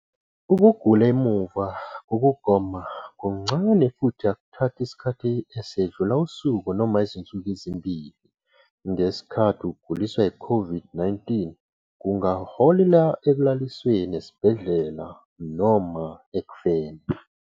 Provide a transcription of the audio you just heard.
Ukugula emuva kokugoma kuncane futhi akuthathi isikhathi esedlula usuku noma izinsuku ezimbili, ngesikhathi ukuguliswa yiCOVID-19 kungaholela ekulalisweni esibhedlela noma ekufeni.